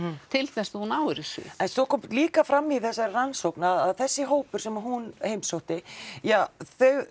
til þess að þú náir þessu mhm en svo kom líka fram í þessari rannsókn að þessi hópur sem að hún heimsótti ja þau